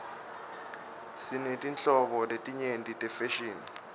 sinetinhlobo letinyenti tefashini